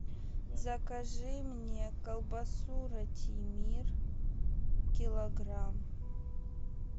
закажи мне колбасу ратимир килограмм